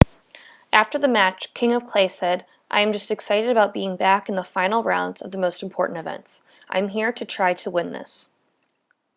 after the match king of clay said i am just excited about being back in the final rounds of the most important events i am here to try to win this